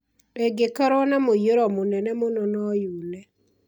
ĩngĩkorwo na mũiyũro mũnene mũno no yune